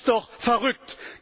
Das ist doch verrückt!